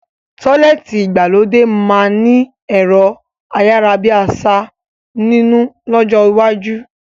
Tọ́lẹ́ẹ́tì ìgbàlódé máa ni ẹ̀rọ ayárábiàsà nínú lọ́jọ́ iwájú